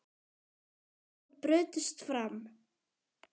Tárin brutust fram.